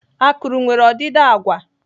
Akụrụ nwere ọdịdị agwa.